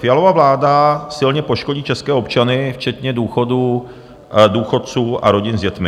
Fialova vláda silně poškodí české občany včetně důchodců a rodin s dětmi.